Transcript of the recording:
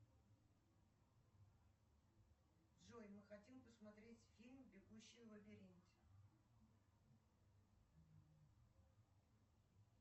джой мы хотим посмотреть фильм бегущий в лабиринте